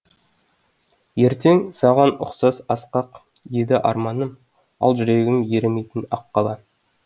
ертең саған ұқсас асқақ еді арманым ал жүрегім ерімейтін ақ қала